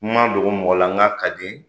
N ma dogo mɔgɔ lal n k'a ka di.